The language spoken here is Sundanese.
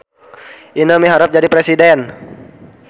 Ineu miharep jadi presiden